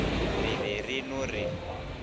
re be re no re